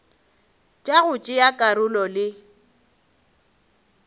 tša go tšea karolo le